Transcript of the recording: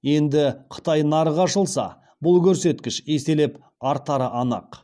енді қытай нарығы ашылса бұл көрсеткіш еселеп артары анық